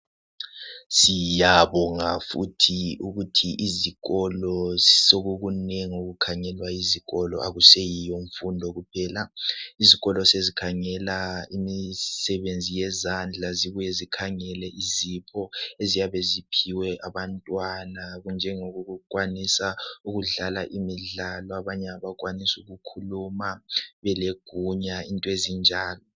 Siyabonga futhi ukuthi izikolo sokukunengi okukhangelwa yizikolo akuseyiyo mfundo kuphela, izikolo sezikhangela imisebenzi yezandla zibuye zikhangele izipho eziyabe ziphiwe abantwana, kunjengokukwanisa ukudlala imidlalo, abanye abakwanisa ukukhuluma belegunya into ezinjalo